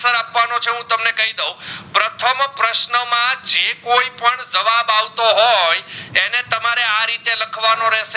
એ કોઈ પણ જવાબ આવતો હોય અને તમરે આ રીતે લખવાનો રહસે